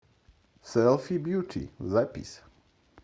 селфи бьюти запись